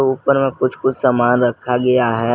ऊपर में कुछ कुछ सामान रखा गया है।